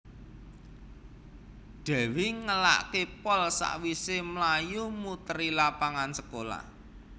Dewi ngelake pol sakwise mlayu muteri lapangan sekolah